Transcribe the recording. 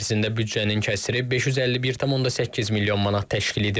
İl ərzində büdcənin kəsiri 551,8 milyon manat təşkil edib.